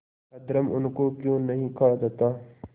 अधर्म उनको क्यों नहीं खा जाता